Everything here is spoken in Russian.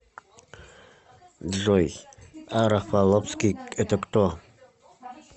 джой а рафаловский это кто